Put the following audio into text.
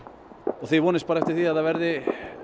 og þið vonist bara eftir því að það verði